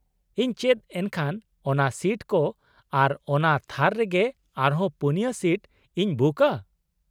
ᱤᱧ ᱪᱮᱫ ᱮᱱᱠᱷᱟᱱ ᱚᱱᱟ ᱥᱤᱴ ᱠᱚ ᱟᱨ ᱚᱱᱟ ᱛᱷᱟᱨ ᱨᱮᱜᱮ ᱟᱨᱦᱚᱸ ᱯᱩᱱᱭᱟᱹ ᱥᱤᱴ ᱤᱧ ᱵᱩᱠᱼᱟ ?